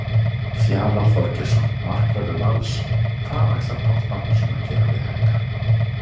Fjalar Þorgeirsson, markvörður Vals: Hvað ætlar Páll Magnússon að gera við Helga?